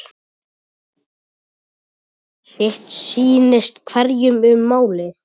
Sitt sýnist hverjum um málið.